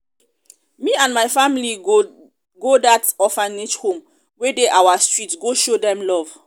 me and my family go dat orphanage home wey dey our street go show dem love